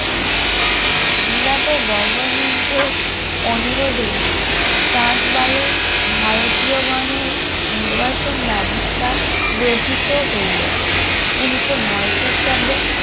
বিলাত government এর অনুরোধে ট্রান্সবালে ভারতীয় গণের নির্বাসন ব্যবস্থা রহিত হইল উনিশশ নয় খ্রিস্টাব্দে